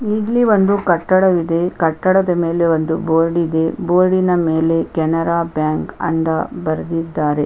ಇಲ್ಲಿ ಒಂದು ಕಟ್ಟಡವಿದೆ ಕಟ್ಟಡದ ಮೇಲೆ ಒಂದು ಬೋರ್ಡ್ ಇದೆ ಬೋರ್ಡ್ ನ ಮೇಲೆ ಕೆನರಾ ಬ್ಯಾಂಕ್ ಅಂತ ಬರೆದಿದ್ದಾರೆ.